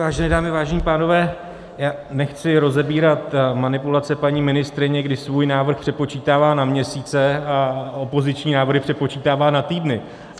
Vážené dámy, vážení pánové, já nechci rozebírat manipulace paní ministryně, kdy svůj návrh přepočítává na měsíce a opoziční návrhy přepočítává na týdny.